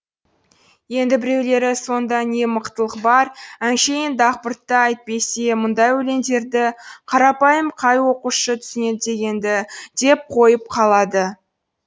енді біреулері сонда не мықтылық бар әншейін дақпырт та әйтпесе мұндай өлеңдерді қарапайым қай оқушы түсінеді дегенді деп қойып қалады